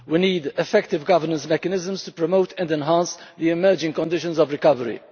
We need effective governance mechanisms to promote and enhance the emerging conditions of recovery.